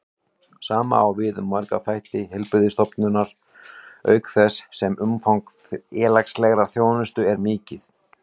Sama á við um marga þætti heilbrigðisþjónustunnar, auk þess sem umfang félagslegrar þjónustu er mikið.